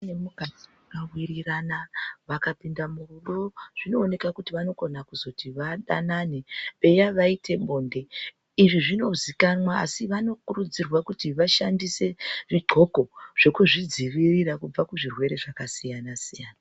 Murume nemukadzi vakawirirana, vakapinda murudo zvinooneka kuti vanokona kuzoti vadanane eya vaite bonde. Izvi zvinozikanwa asi vanokurudzirwa kuti vapfeke zvidhloko zvekuzvidzivirira kuti vasabatwa zvirwere zvakasiyana siyana.